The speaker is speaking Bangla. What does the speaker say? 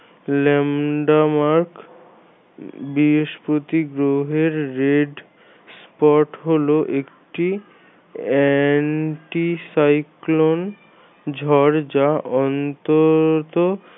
lambda mark বৃহস্পতি গ্রহের red spot হল একটি anti cyclone ঝড় যা অন্তত